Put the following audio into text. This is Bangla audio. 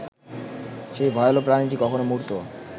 সেই ভয়াল প্রাণীটি কখনো মূর্ত